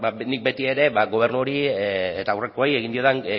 nik beti ere gobernu honi eta aurrekoei egin diodan